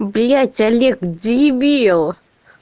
блять олег дебил